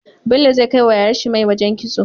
Bello zai kai wa yayar shi mai wajan kitso